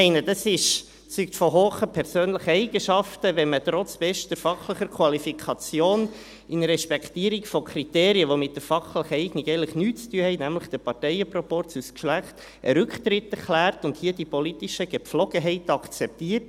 Ich meine, das zeugt von hohen persönlichen Eigenschaften, wenn man trotz bester fachlicher Qualifikation in Respektierung von Kriterien, die mit der fachlichen Eignung eigentlich nichts zu tun haben, nämlich des Parteienproporzes und des Geschlechts, einen Rücktritt erklärt und hier die politischen Gepflogenheiten akzeptiert.